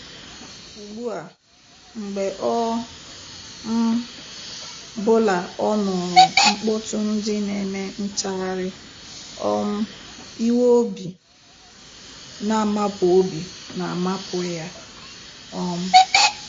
Ugbu a, mgbe ọ um bụla ọ nụrụ mkpọtụ́ndị nq-eme ntagharị um iwe obi na-amapụ obi na-amapụ ya. um